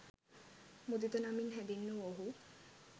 මුදිත නමින් හැඳින් වූ ඔහු